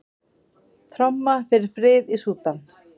Tromma fyrir frið í Súdan